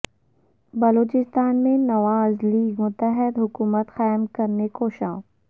بلوچستان میں نواز لیگ متحدہ حکومت قائم کرنے کوشاں